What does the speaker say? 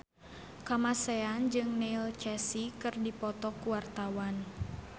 Kamasean jeung Neil Casey keur dipoto ku wartawan